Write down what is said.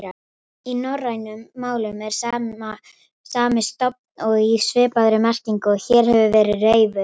Í norrænum málum er sami stofn og í svipaðri merkingu og hér hefur verið reifuð.